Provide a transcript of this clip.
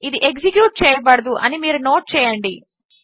ఇది ఎగ్జిక్యూట్ చేయబడదు అని మీరు నోట్ చేయండి